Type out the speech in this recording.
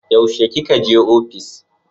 Yaushe ki ka je ofis?